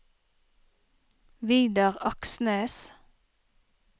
Vidar Aksnes